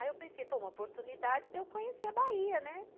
Aí eu pensei, pô, uma oportunidade de eu conhecer a Bahia, né?